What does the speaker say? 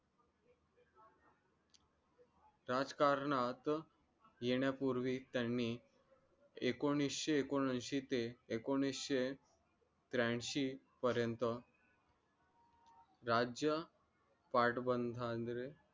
राजकारणात येण्यापूर्वी त्यांनी एकोणिशे एकोणऐंशी ते एकोणिशे त्र्याऐंशी पर्यंत राज्य